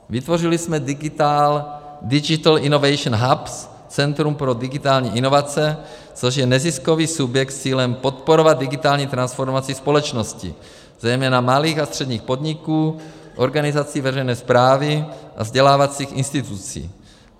Vytvořili jsme Digital Innovation Hubs, Centrum pro digitální inovace, což je neziskový subjekt s cílem podporovat digitální transformaci společnosti, zejména malých a středních podniků, organizaci veřejné správy a vzdělávacích institucí.